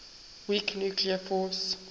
weak nuclear force